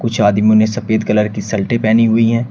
शादी में उन्हें सफेद कलर की शर्ते पहनी हुई है।